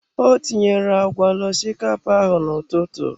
Ọ tinyere agwa na osikapa ahụ n'ụtụtụ.